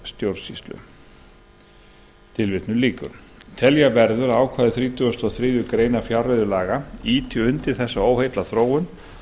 stjórnsýslu telja verður að ákvæði þrítugustu og þriðju grein fjárreiðulaga ýti undir þessa óheillaþróun